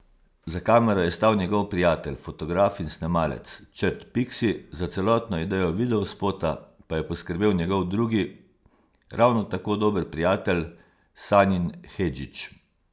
Za kamero je stal njegov prijatelj, fotograf in snemalec Črt Piksi, za celotno idejo videospota pa je poskrbel njegov drugi, ravno tako dober prijatelj Sanjin Hedžić.